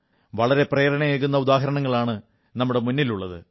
വളരെ പ്രേരണയേകുന്ന ഉദാഹരണങ്ങളാണ് നമ്മുടെ മുന്നിലുള്ളത്